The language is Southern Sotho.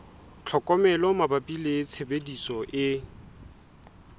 tlhokomelo mabapi le tshebediso e